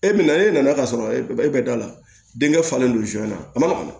E bɛ na e nana ka sɔrɔ e bɛ e bɛ da la denkɛ falen do su na a man